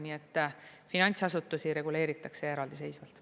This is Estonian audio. Nii et finantsasutusi reguleeritakse eraldiseisvalt.